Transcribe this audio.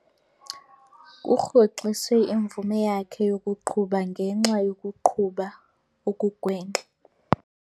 Kurhoxiswe imvume yakhe yokuqhuba ngenxa yokuqhuba okugwenxa.